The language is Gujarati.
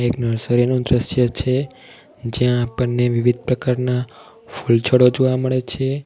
એક નર્સરી નુ દ્રશ્ય છે જ્યાં આપણને વિવિધ પ્રકારના ફુલછોડો જોવા મળે છે.